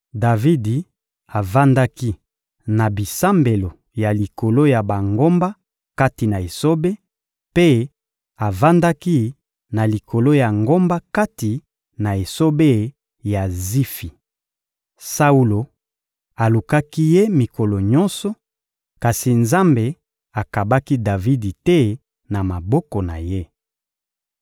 Davidi avandaki na bisambelo ya likolo ya bangomba kati na esobe, mpe avandaki na likolo ya ngomba kati na esobe ya Zifi. Saulo alukaki ye mikolo nyonso, kasi Nzambe akabaki Davidi te na maboko na ye.